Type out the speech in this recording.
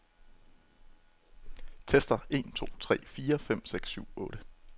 Tester en to tre fire fem seks syv otte.